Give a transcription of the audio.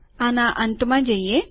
આના અંતમાં જઈએ